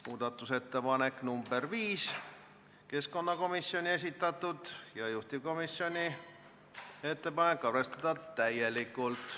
Muudatusettepanek nr 5 on keskkonnakomisjoni esitatud, juhtivkomisjoni ettepanek on arvestada täielikult.